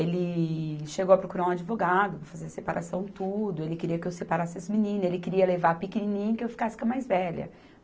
Ele chegou a procurar um advogado, para fazer a separação tudo, ele queria que eu separasse as meninas, ele queria levar a pequenininha e que eu ficasse com a mais velha.